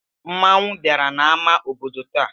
Mmanwụ bịara n'amá obodo taa.